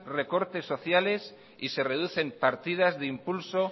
recortes sociales y se reducen partidas de impulso